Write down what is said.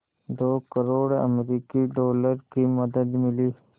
दो करोड़ अमरिकी डॉलर की मदद मिली